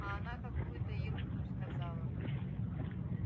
а она какую-то ерунду сказала